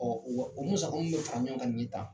wa o musaka mun bɛ fara ɲɔgɔn kan nin ye tan